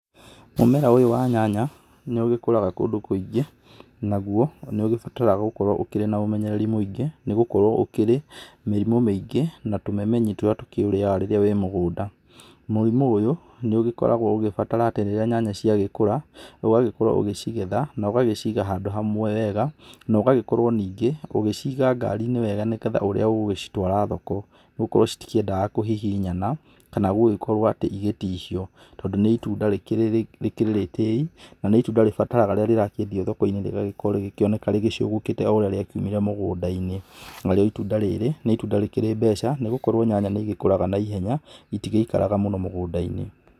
Mũmera ũyũ wa nyanya nĩ ũgĩkũraga kũndũ kũingĩ, naguo nĩ ũgĩbataraga gũkorwo ũkĩrĩ na ũmenyereri mũingĩ, nĩgũkorwo ũkĩrĩ mĩrimũ mĩingĩ na tũmemenyi tũrĩa tũkĩũrĩyaga rĩrĩa wĩ mũgũnda. Mũrimũ ũyũ nĩ ũgĩkoragwo ũgĩbatara atĩ rĩrĩa nyanya cia gĩkũra ũgagĩkorwo ũgĩcigetha na ũgagĩciga handũ hamwe wega, na ũgagĩkirwo ningĩ ũgĩciga ngari-inĩ wega, nĩgetha ũrĩa ũgũcitwara thoko, nĩgũkorwo citikĩendaga kũhihinyana, kana gũgĩkorwo atĩ ĩgĩtihĩo, tondũ nĩ ĩtunda rĩkĩrĩ rĩtĩi na nĩ ĩtunda rĩbataraga rĩrĩa rĩrakĩendio thoko-inĩ rĩgĩkĩoneka rĩgĩcogokĩte wega o ũrĩa rĩakiumire mũgũnda-inĩ. Na rĩo ĩtunda rĩrĩ nĩ ĩtunda rĩkĩrĩ mbeca nĩgũkorwo nyanya nĩ ĩgĩkũraga naihenya, ĩtĩgĩikaraga mũno mũgũnda-inĩ.